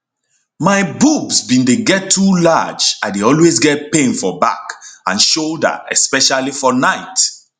my boobs bin dey get too large i dey always get pain for back and shoulder especially for night